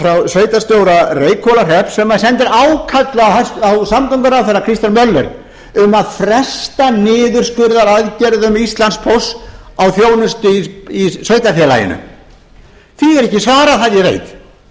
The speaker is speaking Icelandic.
sveitarstjóra reykhólahrepps sem sendir ákall á samgönguráðherra kristján möller um að fresta niðurskurðaraðgerðum íslandspósts á þjónustu í sveitarfélaginu því var ekki svarað það ég veit því er